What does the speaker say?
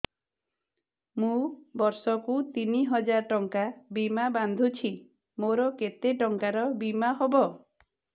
ମୁ ବର୍ଷ କୁ ତିନି ହଜାର ଟଙ୍କା ବୀମା ବାନ୍ଧୁଛି ମୋର କେତେ ଟଙ୍କାର ବୀମା ହବ